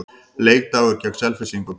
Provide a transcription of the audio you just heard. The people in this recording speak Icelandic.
Leikdagur gegn Selfyssingum.